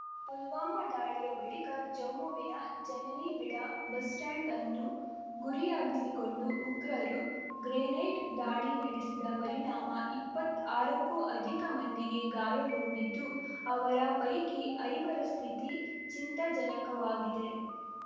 ಪುಲ್ವಾಮಾ ದಾಳಿಯ ಬಳಿಕ ಜಮ್ಮುವಿನ ಜನನಿಬಿಡ ಬಸ್ ಸ್ಟಾಂಡ್‌ ಅನ್ನು ಗುರಿಯಾಗಿಸಿಕೊಂಡು ಉಗ್ರರು ಗ್ರೆನೇಡ್ ದಾಳಿ ನಡೆಸಿದ ಪರಿಣಾಮ ಇಪ್ಪತ್ ಆರಕ್ಕೂ ಅಧಿಕ ಮಂದಿಗೆ ಗಾಯಗೊಂಡಿದ್ದು ಅವರ ಪೈಕಿ ಐವರ ಸ್ಥಿತಿ ಚಿಂತಾಜನಕವಾಗಿದೆ